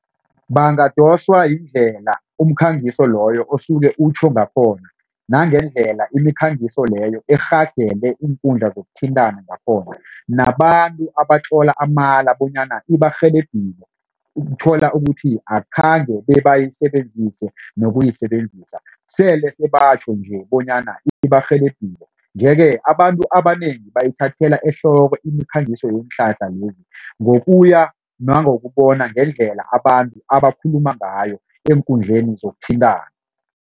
Bangadoswa yindlela umkhangiso loyo osuke utjho ngakhona nangendlela imikhangiso leyo irhagele iinkundla zokuthintana ngakhona nabantu abatlola amala bonyana ibarhelebhile. Uthola ukuthi akhange babeyisebenzise nokuyisebenzisa sele seba batjho nje bonyana ibarhelebhile. Nje-ke abantu abanengi bayithathela ehloko imikhangiso yeenhlahla lezi ngokuya nangokubona ngendlela abantu abakhuluma ngayo eenkundleni zokuthintana.